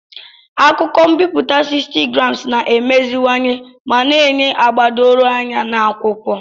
Akụkọ m'biputa 60gsm na-emeziwanye ma na-enye agba doro anya na akwụkwọ.